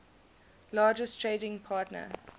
largest trading partner